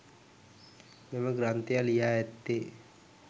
මෙම ග්‍රන්ථය ලියා ඇත්තේ